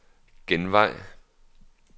genvej